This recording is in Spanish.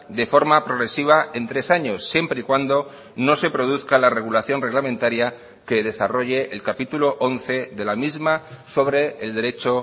de forma progresiva en tres años siempre y cuando no se produzca la regulación reglamentaria que desarrolle el capítulo once de la misma sobre el derecho